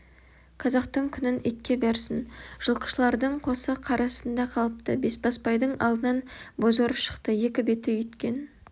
қазақтың күнін итке берсін жылқышылардың қосы қар астында қалыпты бесбасбай-дың алдынан бозорыс шықты екі беті үйіткен